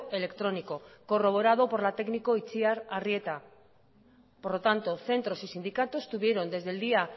electrónico corroborado por la técnico itziar arrieta por lo tanto centros y sindicatos tuvieron desde el día